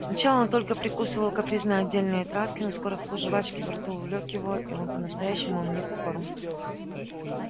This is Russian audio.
сначала он только прикусывал капризно отдельные травки но скоро вкус жвачки во рту увлёк его и он по-настоящему вник в корм